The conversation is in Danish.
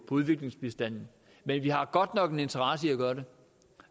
udviklingsbistanden men vi har godt nok en interesse i at gøre det